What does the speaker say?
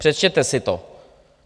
Přečtěte si to.